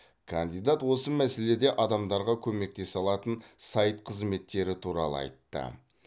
кандидат осы мәселеде адамдарға көмектесе алатын сайт қызметтері туралы айтты